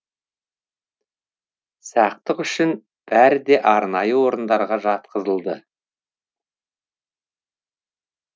сақтық үшін бәрі де арнайы орындарға жатқызылды